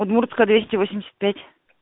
удмуртская двести восемьдесят пять